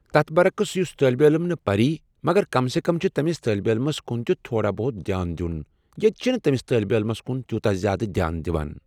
تتھ برعکس یُس طٲلبہ علم نہٕ پَری مگر کم سے کم چھِ تٔمِس طٲلبہ علمَس کُن تہِ تھوڑا بہت دیان دیُٚن ییٚتہِ چھِنہٕ تٔمِس طٲلبہ علَمس کُن تیوٗتاہ زیادٕ دیان دِوان